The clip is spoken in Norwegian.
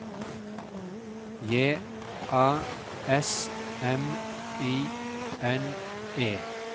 J A S M I N E